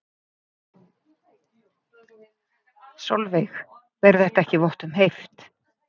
Sólveig: Ber þetta ekki vott um heift?